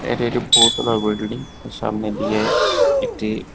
এটি একটি বহুতলার বল্ডলিং এর সামনে দিয়ে একটি--